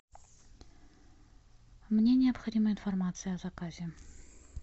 мне необходима информация о заказе